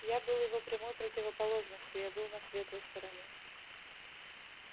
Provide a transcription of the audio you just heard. я был его прямой противоположностью я был на светлой стороне